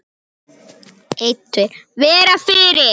Vera fyrir.